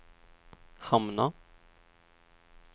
hamna